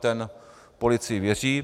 Ten policii věří.